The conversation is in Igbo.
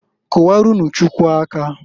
Kụwaranụ Chukwu aka.